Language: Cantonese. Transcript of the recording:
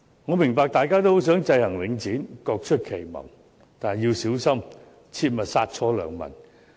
我明白大家都很想制衡領展，各出奇謀，但要小心，切勿殺錯良民。